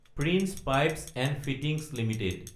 prince pipes & fittings Ltd